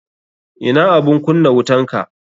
Ina abun kunna wutanka.